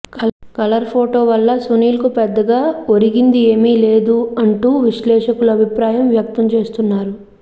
colour photo వల్ల సునీల్కు పెద్దగా ఒరిగింది ఏమీ లేదు అంటూ విశ్లేషకులు అభిప్రాయం వ్యక్తం చేస్తున్నారు